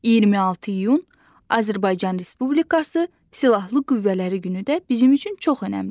26 iyun Azərbaycan Respublikası Silahlı Qüvvələri günü də bizim üçün çox önəmlidir.